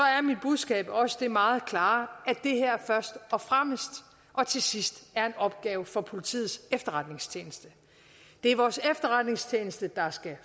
budskab også det meget klare at det her først og fremmest og til sidst er en opgave for politiets efterretningstjeneste det er vores efterretningstjeneste der skal